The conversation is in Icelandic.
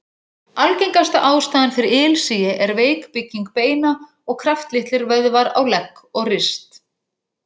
Algengasta ástæðan fyrir ilsigi er veik bygging beina og kraftlitlir vöðvar á legg og rist.